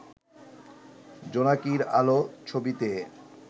'জোনাকীর আলো' ছবিতে